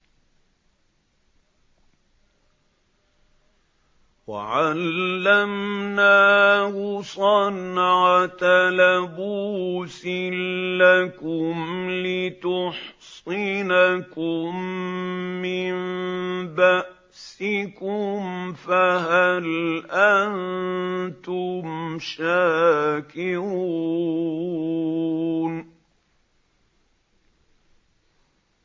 وَعَلَّمْنَاهُ صَنْعَةَ لَبُوسٍ لَّكُمْ لِتُحْصِنَكُم مِّن بَأْسِكُمْ ۖ فَهَلْ أَنتُمْ شَاكِرُونَ